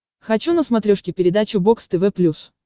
хочу на смотрешке передачу бокс тв плюс